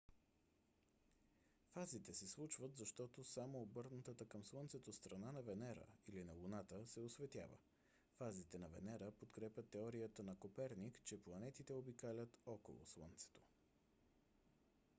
фазите се случват защото само обърнатата към слънцето страна на венера или на луната се осветява. фазите на венера подкрепят теорията на коперник че планетите обикалят около слънцето